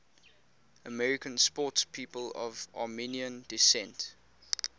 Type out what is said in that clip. american sportspeople of armenian descent